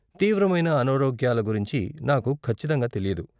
తీవ్రమైన అనారోగ్యాల గురించి నాకు ఖచ్చితంగా తెలీదు.